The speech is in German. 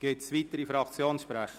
Gibt es weitere Fraktionssprecher?